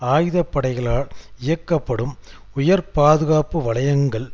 ஆயுத படைகளால் இயக்கப்படும் உயர் பாதுகாப்பு வலயங்கள்